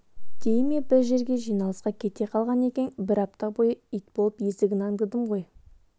дей ме бір жерге жиналысқа кете қалған екен бір апта бойы ит болып есігін аңдыдым ғой